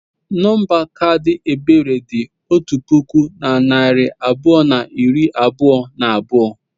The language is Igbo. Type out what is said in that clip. Nọmba kaadị Ebere dị otu puku na narị abụọ na iri abụọ na abụọ.